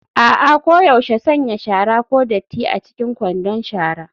A'a, koyaushe sanya shara (ko datti) a cikin kwandon shara.